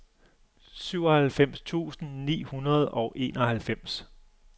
syvoghalvfems tusind ni hundrede og enoghalvfems